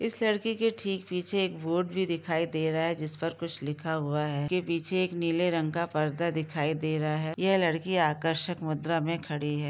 इस लड़की के ठीक पीछे एक बोर्ड भी दिखाई दे रहा है जिस पर कुछ लिखा हुआ है के पीछे एक नीले रंग का पर्दा दिखाई दे रहा है ये लड़की आकर्षक मुद्रा में खड़ी है|